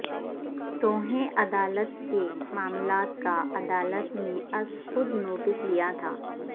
توہیں عدالت کے معامالات کا عدالت نے از خود نوٹس لیا تھا